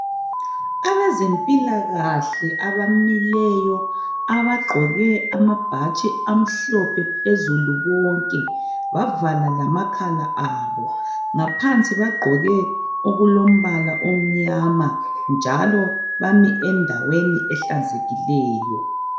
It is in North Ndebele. Abezempilakahle abamileyo, abagqoke amabhatshi amhlophe phezulu bonke, bavala lamakhala abo. Ngaphansi bagqoke okulombala omnyama njalo bame endaweni ehlanzekileyo.